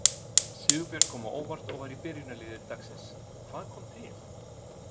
Sigurbjörn kom á óvart og var í byrjunarliði dagsins, hvað kom til?